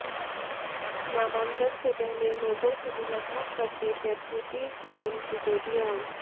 नामांकन से पहले लोगों से मुलाकात करते डेप्युटी सीएम सिसोदिया